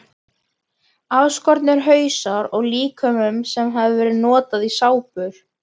Afskornir hausar af líkömum sem höfðu verið notaðir í sápur.